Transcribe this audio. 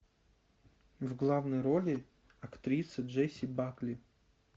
в главной роли актриса джесси бакли